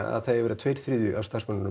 að það eigi að vera tveir þriðju af starfsmönnum